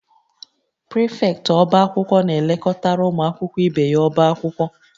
Prịfektị ọbá akwụkwọ na-elekọtara ụmụ akwụkwọ ibe ya ọbá akwụkwọ